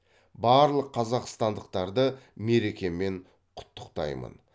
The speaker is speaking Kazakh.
барлық қазақстандықтарды мерекемен құттықтаймын